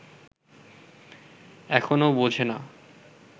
এখনো বোঝে না